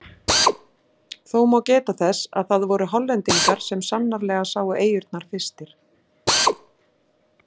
Þó má geta þess að það voru Hollendingar sem sannanlega sáu eyjurnar fyrstir.